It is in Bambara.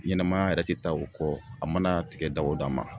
Ɲɛnɛmaya yɛrɛ te taa o kɔ a mana tigɛ da o da ma.